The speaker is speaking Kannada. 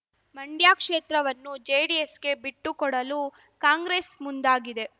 ಮಂಡ್ಯ ಕ್ಷೇತ್ರವನ್ನು ಜೆಡಿಎಸ್‌ಗೆ ಬಿಟ್ಟುಕೊಡಲು ಕಾಂಗ್ರೆಸ್ ಮುಂದಾಗಿದೆ